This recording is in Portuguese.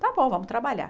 Tá bom, vamos trabalhar.